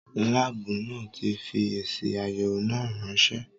Láàbù náà tí fi èsì àyẹ̀wọ̀ náà ránsẹ́